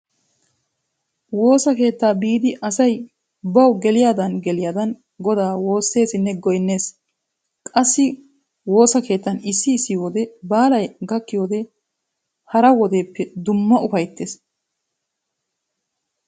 Woosa keettaa biidi asay bawu geliyagaadan geliyagaadan goda woosseesinne goynnees. Qassi woosa keettan issi issi wode baalay gakkiyode hara wodeppe dumma ufayssees.